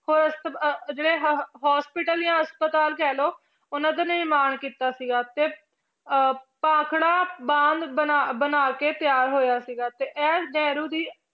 ਹੋਰ ਜਿਹੜੇ ਹ~ hospital ਜਾਂ ਹਸਪਤਾਲ ਕਹਿ ਲਓ, ਉਹਨਾਂ ਦਾ ਨਿਰਮਾਣ ਕੀਤਾ ਸੀਗਾ, ਤੇ ਅਹ ਭਾਖੜਾ ਬਾਂਦ ਬਣਾ ਬਣਾ ਕੇ ਤਿਆਰ ਹੋਇਆ ਸੀਗਾ ਤੇ ਇਹ ਨਹਿਰੂ ਦੀ